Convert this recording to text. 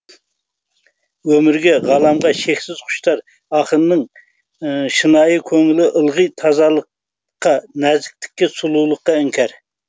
өмірге ғаламға шексіз құштар ақынның шынайы көңілі ылғи тазалыққа нәзіктікке сұлулыққа іңкәр